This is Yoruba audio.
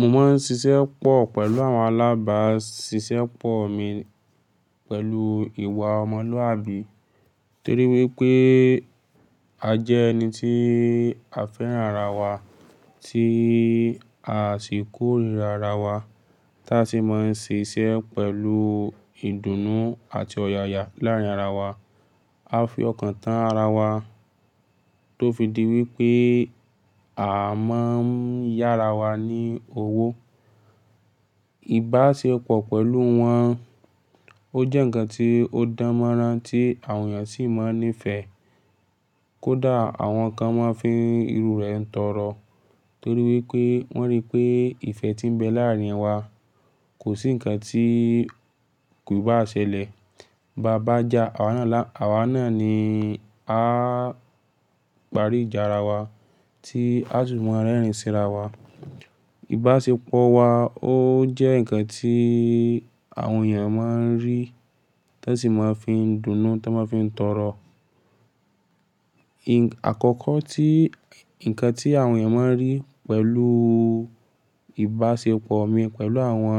Mo máa ń ṣiṣẹ́ pọ̀ pẹ̀lú àwọn alábàáṣiṣẹ́ pọ mi pẹ̀lú ìwà ọmọlúàbí. Torí wípé a jẹ́ ẹni tí a fẹ́ràn ara wa, tí a sì kórira ara wa. Táa sì máa ń ṣe iṣẹ́ pẹ̀lú ìdùnnú àti ọ̀yàyà láàárín ara wa. A fi ọkàn tán ara wa tó fi di wípé a máa ń yára wa ní owó. Ìbáṣepọ̀ pẹ̀lú wọn ó jẹ́ ǹkan tí ó dáñ mọ́rañtí àwọn èèyàn sì máa ń nífẹ̀ẹ́. Kódà àwọn kan máa ń fi irú rẹ̀ tọrọ torí wípé wọ́n rí pé ìfẹ́ tí ń bẹ láàárín wa kò sí ǹkan tí kò bá ṣẹlẹ̀. Bá bà já àwa náà lánàá, àwa náà ni a parí ìjà ara wa tí a sì máa ń rẹ́rìn sí ara wa. Ìbáṣepọ̀ wa ó jẹ́ ǹkan tí àwọn èèyàn máa ń rí, tán sì máa ń fi dùnú táñ máa ń fi tọrọ. Àkọ́kọ́ tí ǹkan tí àwọn èèyàn máa ń rí pẹ̀lú ìbáṣepọ̀ mi pẹ̀lú àwọn,